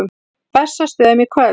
Bessastöðum í kvöld!